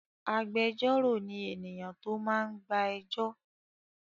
Agbẹjọ́rò ni ènìyàn tó máa ń gba ẹjọ́.